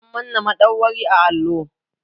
Sun manna madauwari a allo.